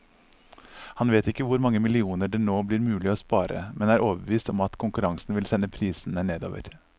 Han vet ikke hvor mange millioner det nå blir mulig å spare, men er overbevist om at konkurransen vil sende prisene nedover.